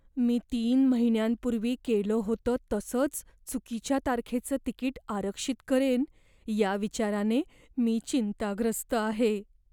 मी तीन महिन्यांपूर्वी केलं होतं तसंच चुकीच्या तारखेचं तिकीट आरक्षित करेन या विचाराने मी चिंताग्रस्त आहे.